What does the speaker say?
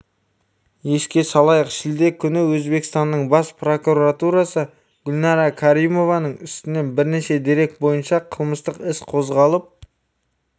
еске салайық шілде күні өзбекстанның бас прокуратурасы гүлнара краримованың үстінен бірнеше дерек бойынша қылмыстық іс қозғалып